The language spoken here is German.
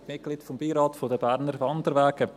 Ich bin Mitglied des Beirats der Berner Wanderwege.